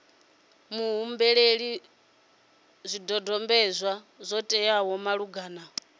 muhumbeli zwidodombedzwa zwo teaho malugana